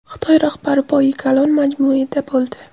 Xitoy rahbari Poyi Kalon majmuida bo‘ldi.